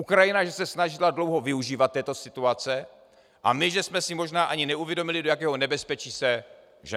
Ukrajina, že se snažila dlouho využívat této situace, a my, že jsme si možná ani neuvědomili, do jakého nebezpečí se ženeme.